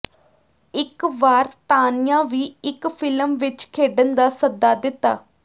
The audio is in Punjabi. ਇੱਕ ਵਾਰ ਤਾਨੀਆ ਵੀ ਇੱਕ ਫਿਲਮ ਵਿੱਚ ਖੇਡਣ ਦਾ ਸੱਦਾ ਦਿੱਤਾ